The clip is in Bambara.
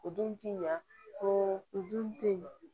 O dun ti ɲa ko o dun te ye